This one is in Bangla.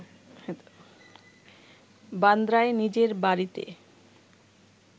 বান্দ্রায় নিজের বাড়িতে